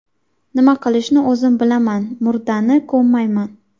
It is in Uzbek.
Nima qilishni o‘zim bilaman, murdani ko‘mmayman.